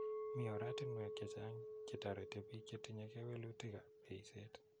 Mi oratinwek che chang' che tarete piik che �tinye kewelitikap eiset